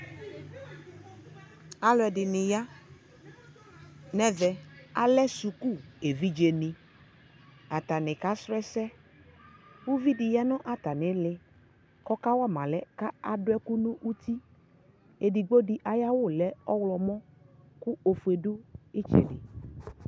alʋɛdini ya nʋ ɛvɛ, alɛ sʋkʋ ɛvidzɛ ni, atani ka srɔ ɛsɛ, ʋvi di yanʋ atani ili kʋ ɔka wama alɛ kʋadʋɛkʋnʋ ʋti, ɛdigbɔ diayiawʋlɛɔwlɔmʋ kʋɔƒʋɛdʋɛtsɛdɛ